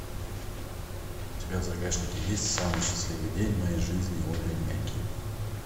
у тебя в загашнике есть самый счастливый день в моей жизни олли мяки